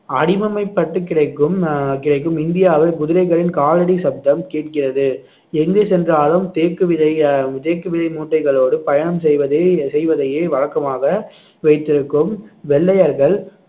அடிவம்மைப்பட்டு கிடைக்கும் அஹ் கிடைக்கும். இந்தியாவை குதிரைகளின் காலடி சத்தம் கேட்கிறது எங்கு சென்றாலும் தேக்குவிதை அஹ் தேக்குவிதை மூட்டைகளோடு பயணம் செய்வதை செய்வதையே வழக்கமாக வைத்திருக்கும் வெள்ளையர்கள்